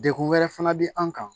Degun wɛrɛ fana bɛ an kan